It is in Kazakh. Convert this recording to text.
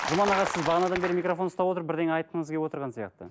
жұман аға сіз бағанадан бері микрофон ұстап отырып бірдеңе айтқыңыз келіп отырған сияқты